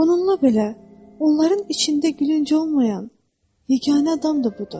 Bununla belə, onların içində gülünc olmayan yeganə adam da budur.